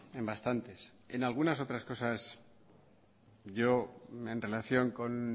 en bastantes en algunas otras cosas yo en relación con